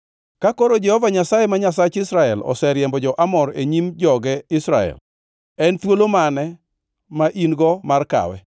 “Ka koro Jehova Nyasaye, ma Nyasach Israel, oseriembo jo-Amor e nyim joge Israel, en thuolo mane ma in-go mar kawe?